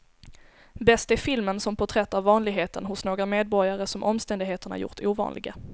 Bäst är filmen som porträtt av vanligheten hos några medborgare som omständigheterna gjort ovanliga.